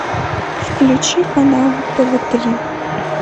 включи канал тв три